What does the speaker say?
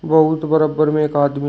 बहुत बरबर में एक आदमी--